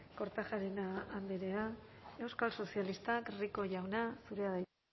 kortajarena andrea euskal sozialistak rico jauna zurea da hitza